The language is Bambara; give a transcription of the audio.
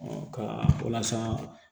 ka walasa